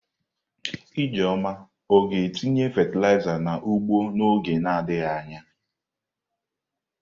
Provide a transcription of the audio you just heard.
Ijeoma ọ ga-etinye fatịlaịza n'ugbo n'oge na-adịghị anya?